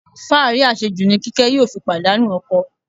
Fáàrí àṣejù ni Kíkẹ́ yóò fi pàdánù ọkọ.